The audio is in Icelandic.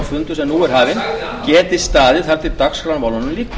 fundur sem nú er hafinn geti staðið þar til dagskrármálunum lýkur